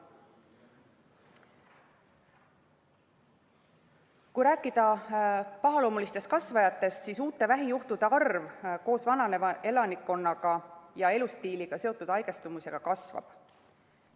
Kui rääkida pahaloomulistest kasvajatest, siis uute vähijuhtude arv koos elanikkonna vananemisega ja elustiiliga seotud haigestumusega kasvab.